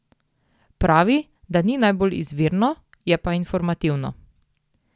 Pravi, da ni najbolj izvirno, je pa informativno.